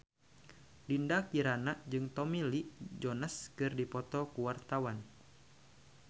Dinda Kirana jeung Tommy Lee Jones keur dipoto ku wartawan